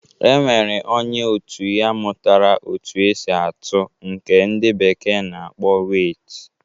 E nwere onye otu ya mụtara otu esi atụ nke ndị bekee na-akpọ weit.